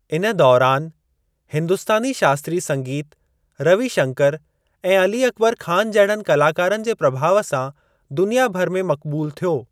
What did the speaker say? इन दौरान हिन्दुस्तानी शास्त्रीय संगीत रविशंकर ऐं अली अकबर ख़ान जहिड़नि कलाकारनि जे प्रभाउ सां दुनिया भर में मक़बूलु थियो आहे।